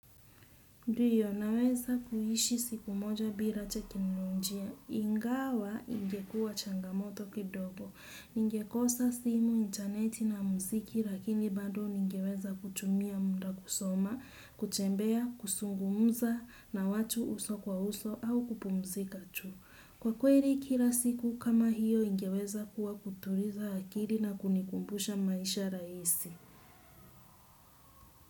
Ndiyo naweza kuishi siku moja bila teknolojia. Ingawa ingekuwa changamoto kidogo. Ningekosa simu, intaneti na muziki lakini bado ningeweza kutumia muda kusoma, kutembea, kuzungumza na watu uso kwa uso au kupumzika tu. Kwa kweli kila siku kama hiyo ingeweza kuwa kutuliza akili na kunikumbusha maisha rahisi.